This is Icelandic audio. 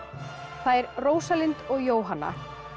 þær Rósalind og Jóhanna